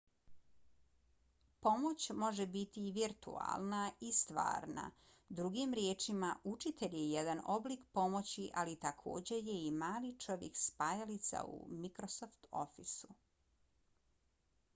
pomoć može biti i virtualna i stvarna drugim riječima učitelj je jedan oblik pomoći ali takođe je i mali čovjek spajalica u microsoft officeu